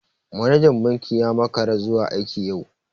Manajan banki ya makara zuwa aiki yau.